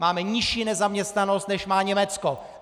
Máme nižší nezaměstnanost, než má Německo.